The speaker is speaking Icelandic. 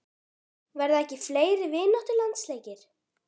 Verða ekki fleiri vináttulandsleikir?